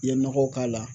I ye nɔgɔ k'a la